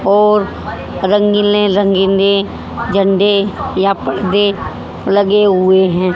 और रंगीले रंगीनें झंडे या पर्दे लगे हुए हैं।